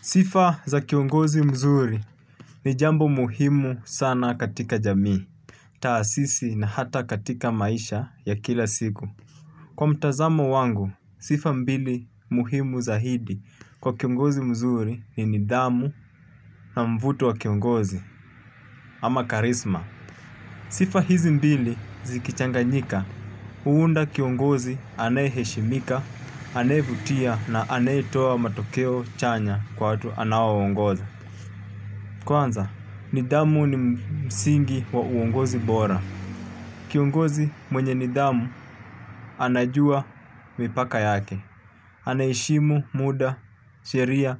Sifa za kiongozi mzuri ni jambo muhimu sana katika jamii. Taasisi na hata katika maisha ya kila siku. Kwa mtazamo wangu, sifa mbili muhimu za hidi kwa kiongozi mzuri ni nidhamu na mvuto wa kiongozi ama karisma. Sifa hizi mbili zikichanganyika, huunda kiongozi anaye heshimika, anayevutia na anaye toa matokeo chanya kwa watu anaowaongoza. Kwanza, nidhamu ni msingi wa uongozi bora. Kiongozi mwenye nidhamu anajua mipaka yake. Anaheshimu muda, sheria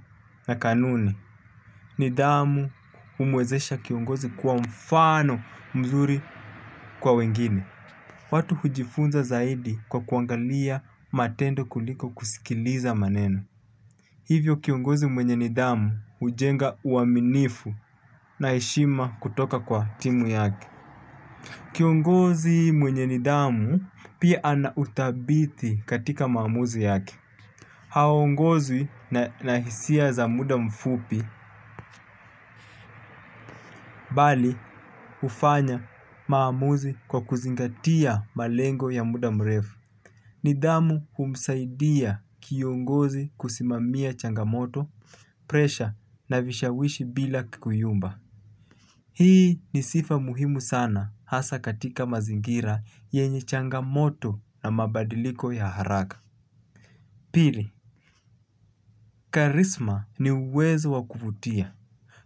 na kanuni. Nidhamu umwezesha kiongozi kuwa mfano mzuri kwa wengine. Watu hujifunza zaidi kwa kuangalia matendo kuliko kusikiliza maneno. Hivyo kiongozi mwenye nidhamu hujenga uaminifu na heshima kutoka kwa timu yake. Kiongozi mwenye nidhamu pia ana uthabiti katika maamuzi yake. Haongozwi na hisia za muda mfupi, bali ufanya maamuzi kwa kuzingatia malengo ya muda mrefu. Nidhamu humsaidia kiongozi kusimamia changamoto, presha na vishawishi bila kuyumba. Hii ni sifa muhimu sana hasa katika mazingira yenye changamoto na mabadiliko ya haraka. Pili, karisma ni uwezo wakuvutia,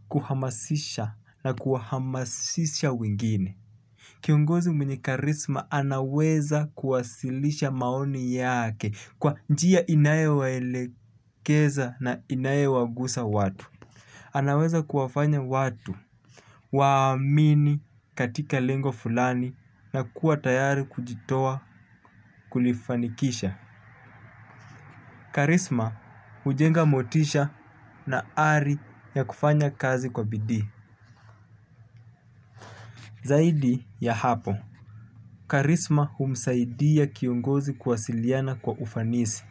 kuhamasisha na kuhamasisha wengine. Kiongozi mwenye karisma anaweza kuwasilisha maoni yake kwa njia inayo waelekeza na inayo wagusa watu. Anaweza kuwafanya watu waamini katika lengo fulani na kuwa tayari kujitoa kulifanikisha. Karisma hujenga motisha na ari ya kufanya kazi kwa bidii. Zaidi ya hapo, karisma humsaidia kiongozi kuwasiliana kwa ufanisi.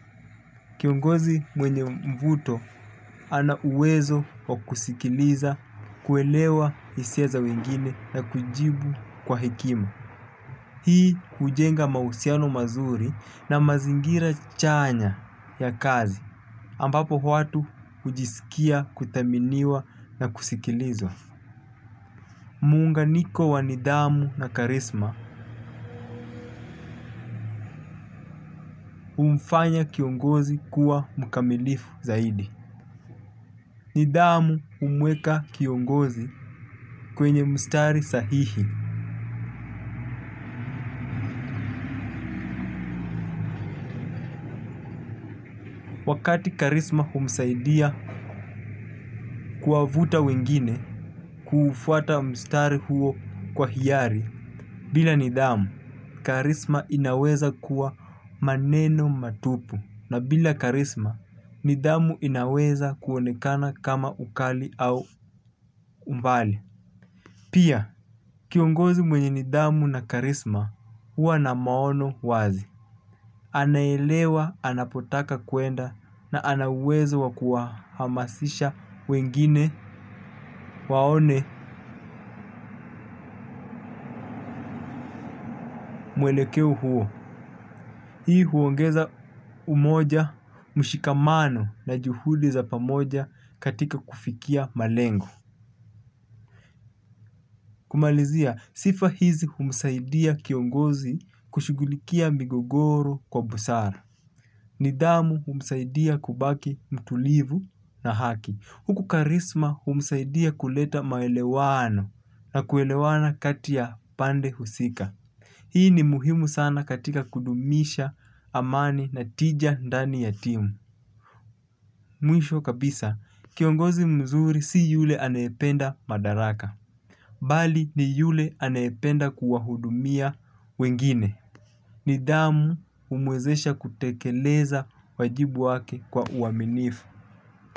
Kiongozi mwenye mvuto ana uwezo wa kusikiliza, kuelewa hisia za wengine na kujibu kwa hekima. Hii kujenga mahusiano mazuri na mazingira chanya ya kazi. Ambapo watu hujisikia kuthaminiwa na kusikilizwa. Muunganiko wa nidhamu na karisma humfanya kiongozi kuwa mukamilifu zaidi. Nidamu humweka kiongozi kwenye mstari sahihi. Wakati karisma humsaidia kuwavuta wengine kufuata mstari huo kwa hiari. Bila Nidamu, Karisma inaweza kuwa maneno matupu. Na bila Karisma, Nidamu inaweza kuonekana kama ukali au umbali. Pia, kiongozi mwenye nidhamu na karisma huwa na maono wazi. Anaelewa, anapotaka kwenda na ana uwezo wakuwahamasisha wengine waone mwelekeo huo. Hii huongeza umoja mshikamano na juhudi za pamoja katika kufikia malengo. Kumalizia, sifa hizi humsaidia kiongozi kushughulikia migogoro kwa busara. Nidhamu humsaidia kubaki mtulivu na haki huku karisma humsaidia kuleta maelewano na kuelewana kati ya pande husika. Hii ni muhimu sana katika kudumisha amani na tija ndani ya timu. Mwisho kabisa, kiongozi mzuri si yule anayependa madaraka. Bali ni yule anayependa kuwahudumia wengine. Nidamu umwezesha kutekeleza wajibu wake kwa uaminifu.